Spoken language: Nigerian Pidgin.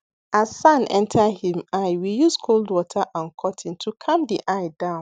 as sand enter him eye we use cold water and cotton to calm the eye down